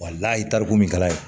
ye tariku min kalan ye